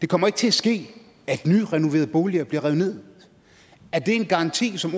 kommer til at ske at nyrenoverede boliger bliver revet ned er det en garanti som